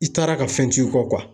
I taara ka fɛn t'i kɔ